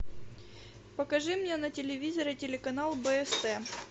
покажи мне на телевизоре телеканал бст